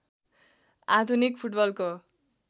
आधुनिक फुटबलको